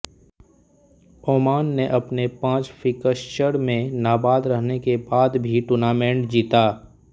Oman ने अपने पांच फिक्स्चर में नाबाद रहने के बाद भी टूर्नामेंट जीता